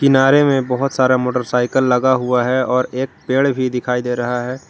किनारे में बहुत सारा मोटरसाइकिल लगा हुआ है और एक पेड़ भी दिखाई दे रहा है।